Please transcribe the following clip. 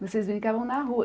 Vocês brincavam na rua?